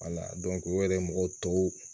o yɛrɛ mɔgɔw tɔw